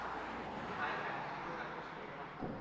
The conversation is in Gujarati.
હા એ કાયમ ચુર્ણ રોજ રાખુ છુ bag માં